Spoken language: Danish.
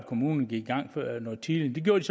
kommunerne gik i gang noget tidligere det